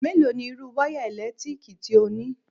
Mélòó ni irú wáyà eèlétíkì tí ó ní?